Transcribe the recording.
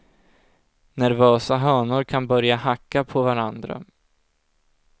Nervösa hönor kan börja hacka på varandra.